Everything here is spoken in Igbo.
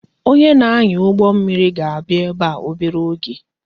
Onye na-anya ụgbọ mmiri ga-abịa ebe a obere oge